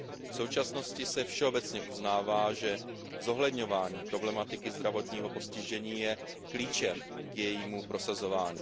V současnosti se všeobecně uznává, že zohledňování problematiky zdravotního postižení je klíčem k jejímu prosazování.